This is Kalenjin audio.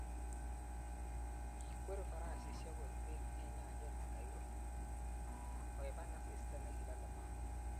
Kikweri farasishek kopir peek eng nyanjas Cairo koepan asista nekilale mm�ah